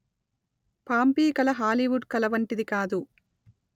Pompeii కళ Hollywood కళ వంటిది కాదు